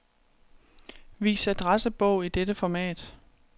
Vis adressebog i dette format.